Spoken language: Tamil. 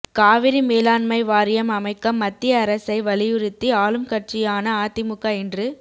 காவிரி மேலாண்மை வாரியம் அமைக்க மத்திய அரசை வலியுறுத்தி ஆளும்கட்சியான அதிமுக இன்று